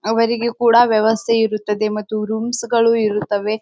ಅವರಿಗೆ ಕೂಡ ವ್ಯವಸ್ಥೆ ಇರುತ್ತದೆ ಮತ್ತು ರೂಮ್ಸ್ ಗಳೂ ಇರುತ್ತವೆ.